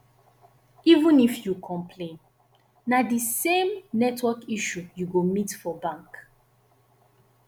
even if yu complain na di same network issue yu go meet for bank